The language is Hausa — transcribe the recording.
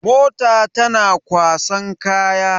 Mota tana kwasan kaya.